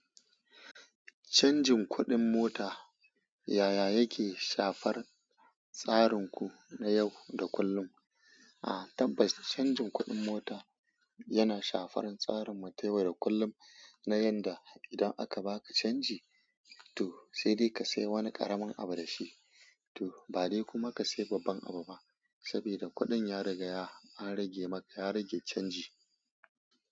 Canjin kuɗin mota yaya yake shafar tsarinku na yau da kullum? Aa tabbas canjin kuɗin mota yana shafar tsarin mu ta yau da kullum na yanda idan aka baka canji, to sai dai ka sai wani ƙaramin abu da shi, to ba dai kuma ka siya babban abu ba, saboda kuɗin ya riga ya, an rage maka, ya rage canji.